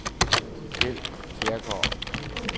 Keld Kjærgaard